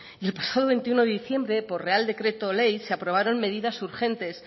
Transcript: y el pasado veintiuno de diciembre por real decreto ley se aprobaron medidas urgentes